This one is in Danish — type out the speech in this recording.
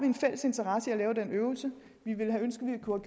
en fælles interesse i at lave den øvelse vi ville ønske at vi kunne